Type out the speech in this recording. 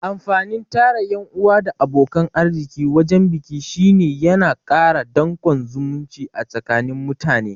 Amfanin tara ƴan'uwa da abokan arziki wajan biki shine yana kara danƙon zumunci a tsakani mutane